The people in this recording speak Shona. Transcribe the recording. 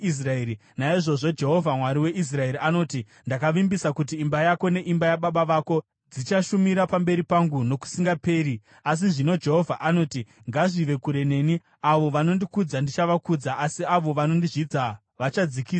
“Naizvozvo Jehovha, Mwari weIsraeri, anoti, ‘Ndakavimbisa kuti imba yako neimba yababa vako dzichashumira pamberi pangu nokusingaperi.’ Asi zvino Jehovha anoti, ‘Ngazvive kure neni! Avo vanondikudza ndichavakudza, asi avo vanondizvidza vachadzikisiswa.